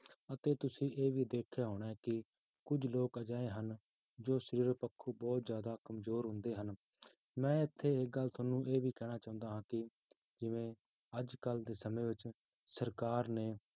ਅਤੇ ਤੁਸੀਂ ਇਹ ਵੀ ਦੇਖਿਆ ਹੋਣਾ ਹੈ ਕਿ ਕੁੱਝ ਲੋਕ ਅਜਿਹੇ ਹਨ ਜੋ ਸਰੀਰ ਪੱਖੋਂ ਬਹੁਤ ਜ਼ਿਆਦਾ ਕੰਮਜ਼ੋਰ ਹੁੰਦੇ ਹਨ, ਮੈਂ ਇੱਥੇ ਇੱਕ ਗੱਲ ਤੁਹਾਨੂੰ ਇਹ ਵੀ ਕਹਿਣਾ ਚਾਹੁੰਦਾ ਹਾਂ ਕਿ ਜਿਵੇਂ ਅੱਜ ਕੱਲ੍ਹ ਦੇ ਸਮੇਂ ਵਿੱਚ ਸਰਕਾਰ ਨੇ